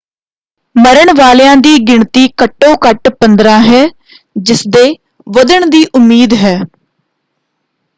ਮਰਨ ਵਾਲਿਆਂ ਦੀ ਗਿਣਤੀ ਘੱਟੋ ਘੱਟ 15 ਹੈ ਜਿਸਦੇ ਵੱਧਣ ਦੀ ਉਮੀਦ ਹੈ।